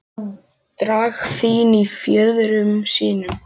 Dragfín í fjöðrum sínum.